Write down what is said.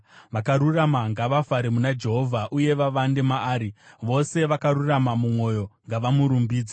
Vakarurama ngavafare muna Jehovha uye vavande maari; vose vakarurama mumwoyo ngavamurumbidze!